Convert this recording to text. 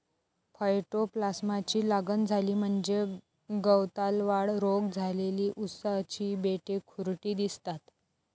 फयटोप्लास्माची लागण झाली म्हणजेच गवतालवाढ रोग झालेली उसाची बेटे खुरटी दिसतात.